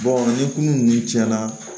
ni kunun nunnu tiɲɛna